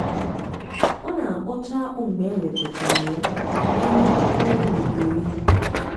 ọ na-akpọcha akpu mgbe e wetachara ya n'elu okpokoro e weliri elu.